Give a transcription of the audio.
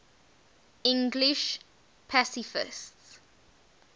english pacifists